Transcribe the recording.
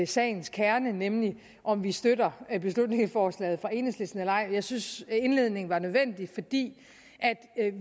sagens kerne nemlig om vi støtter beslutningsforslaget fra enhedslisten eller ej jeg synes at indledningen var nødvendig fordi